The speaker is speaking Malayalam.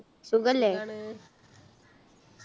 സുഖല്ലേ